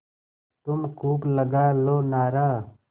तुम खूब लगा लो नारा